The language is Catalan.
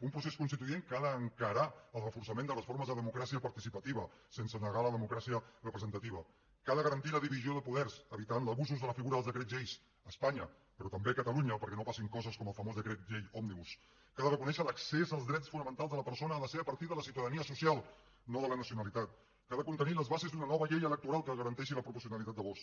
un procés constituent que ha d’encarar el reforçament de les formes de democràcia participativa sense negar la democràcia representativa que ha de garantir la divisió de poders evitant abusos de la figura dels decrets lleis a espanya però també a catalunya perquè no passin coses com el famós decret llei òmnibus que ha de reconèixer que l’accés als drets fonamentals de la persona ha de ser a partir de la ciutadania social no de la nacionalitat que ha de contenir les bases d’una nova llei electoral que garanteixi la proporcionalitat del vot